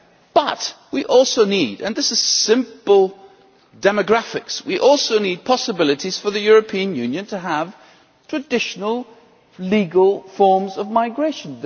But we also need and this is simple demographics possibilities for the European Union to have traditional, legal forms of migration.